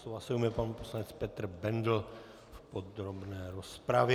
Slova se ujme pan poslanec Petr Bendl v podrobné rozpravě.